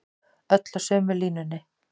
Öll á sömu línunni